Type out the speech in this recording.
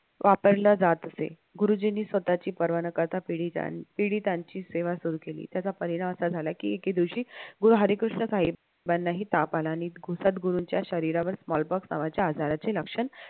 वापरला जात असे गुरुजींनी स्वतःची पर्वा न करता पीडितांची सेवा सुरु केली त्याचा परिणाम असा झाला की एके दिवशी गुरु हरिकृष्ण साहेबांना ही ताप आला गुरूंच्या शरीरावर नावाच्या आजाराचे लक्षण